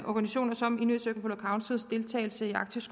organisationer som inuit circumpolar councils deltagelse i arktisk